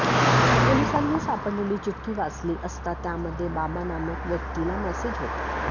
पोलिसांनी सापडलेली चिठ्ठी वाचली असता त्यामध्ये बाबा नामक व्यक्तीला मेसेज होता